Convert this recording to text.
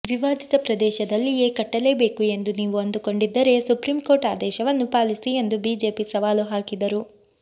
ವಿವಾದಿತ ಪ್ರದೇಶದಲ್ಲಿಯೇ ಕಟ್ಟಲೇಬೇಕು ಎಂದು ನೀವು ಅಂದುಕೊಂಡಿದ್ದರೆ ಸುಪ್ರೀಂಕೋರ್ಟ್ ಆದೇಶವನ್ನು ಪಾಲಿಸಿ ಎಂದು ಬಿಜೆಪಿ ಸವಾಲು ಹಾಕಿದರು